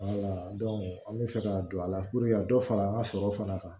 an bɛ fɛ ka don ala ka dɔ fara an ka sɔrɔ fana kan